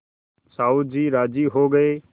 साहु जी राजी हो गये